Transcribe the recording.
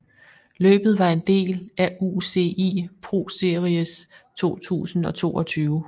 Løbet var en del af UCI ProSeries 2022